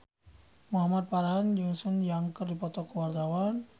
Muhamad Farhan jeung Sun Yang keur dipoto ku wartawan